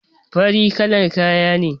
Farin kalar kaya ne